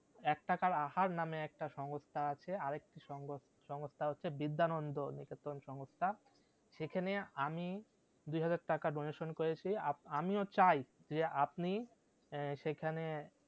এক টাকার আহার নাম একটা সংস্থা আছে আর একটি সংস্থা হচ্ছে বিদ্যানন্দ নিকেতন সংস্থা সেখানে আমি দুই হাজার টাকা donation করেছি আমিও চাই যে আপনি সেখানে